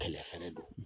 Kɛlɛ fɛnɛ don